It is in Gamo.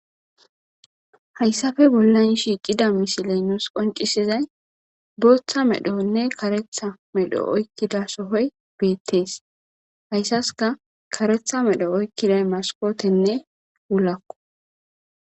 Hayssape bolla baggan nuus qoncisiza misiley, booththa medhonne zo'o medho oykidays keethay beetees. Haysasika kareththa medho oykiday maskotenne wulako.